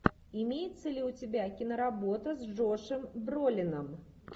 имеется ли у тебя киноработа с джошем бролином